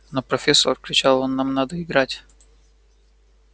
но профессор кричал он нам надо играть